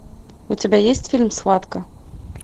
у тебя есть фильм схватка